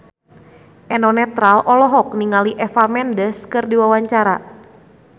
Eno Netral olohok ningali Eva Mendes keur diwawancara